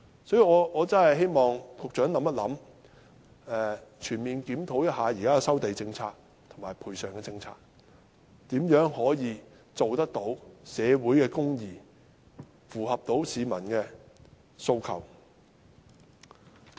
所以我真的希望局長能考慮一下，全面檢討現時的收地政策及賠償政策，看看如何能達致社會公義，符合市民的訴求。